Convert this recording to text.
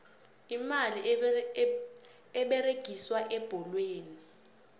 imali eberegiswa ebholweni